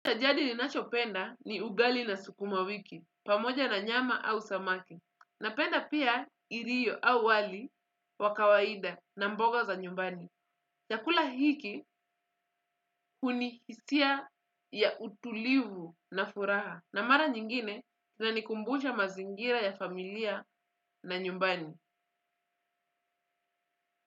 Cha jadi ninachopenda ni ugali na sukuma wiki, pamoja na nyama au samaki. Napenda pia ilio au wali wa kawaida na mboga za nyumbani. Chakula hiki hunihisia ya utulivu na furaha. Na mara nyingine, inanikumbusha mazingira ya familia na nyumbani.